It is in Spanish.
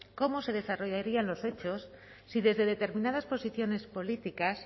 cómo se desarrollarían los hechos si desde determinadas posiciones políticas